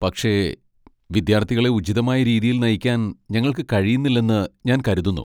പക്ഷേ, വിദ്യാർത്ഥികളെ ഉചിതമായ രീതിയിൽ നയിക്കാൻ ഞങ്ങൾക്ക് കഴിയുന്നില്ലെന്ന് ഞാൻ കരുതുന്നു.